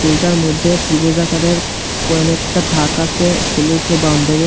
দুইটার মধ্যে ত্রিভুজ আকারের কয়েন একটা থাক আসে স্কুলের উপরে বাউন্ডারি আ--